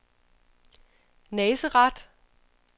Nazareth